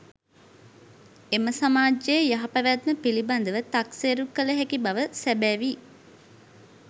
එම සමාජයේ යහපැවැත්ම පිළිබඳ ව තක්සේරු කළ හැකි බව සැබැවි.